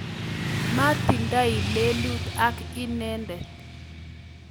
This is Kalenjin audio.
mating'doi lelut ak inendet